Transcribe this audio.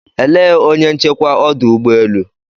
Elee onye nchekwa ọdụ ụgbọ elu?